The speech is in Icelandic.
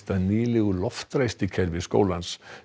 að nýlegu loftræstikerfi skólans